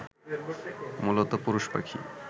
মূলত পুরুষ পাখি